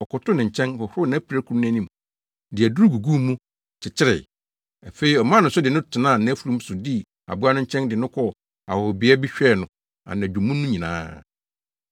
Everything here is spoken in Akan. Ɔkɔkotow ne nkyɛn, hohoroo nʼapirakuru no anim, de aduru guguu mu, kyekyeree. Afei ɔmaa no so de no tenaa nʼafurum so dii aboa no nkyɛn de no kɔɔ ahɔhobea bi hwɛɛ no anadwo mu no nyinaa.